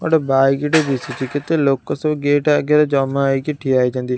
ଗୋଟେ ବାଇକ୍ ଟେ ଦିଶୁଛି କେତେ ଲୋକ ସବୁ ଗେଟ୍ ଆଗରେ ଜମା ହେଇକି ଠିଆ ହୋଇଛନ୍ତି।